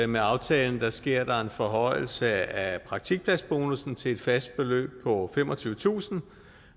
med aftalen sker der en forhøjelse af praktikpladsbonussen til et fast beløb på femogtyvetusind